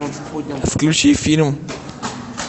включи фильм